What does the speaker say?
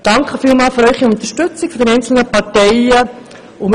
Vielen Dank für Ihre Unterstützung für Muriel Mallepell.